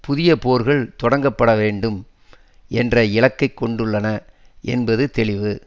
புதிய போர்கள் தொடக்கப்பட வேண்டும் என்ற இலக்கை கொண்டுள்ளன என்பது தெளிவு